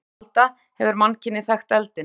Frá örófi alda hefur mannkynið þekkt eldinn.